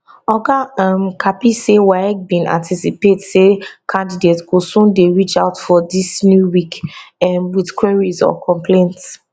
oga um kapi say waec bin anticipate say candidates go soon dey reach out for dis new week um wit queries or complaints